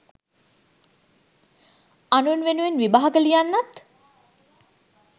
අනුන් වෙනුවෙන් විභාග ලියන්නත්